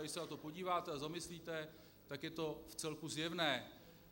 Když se na to podíváte a zamyslíte se, tak je to vcelku zjevné.